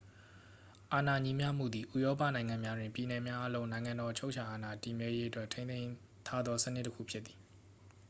အာဏာညီမျှမှုသည် ဥရောပနိုင်ငံများတွင် ပြည်နယ်များအားလုံး နိုင်ငံတော် အချုပ်အချာအာဏာ တည်မြဲရေးအတွက်ထိန်းသိမ်းထားသေ စနစ်တစ်ခုဖြစ်သည်